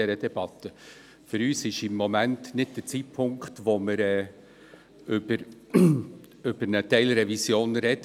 Für uns ist dies nicht der Zeitpunkt, um über eine Teilrevision zu sprechen.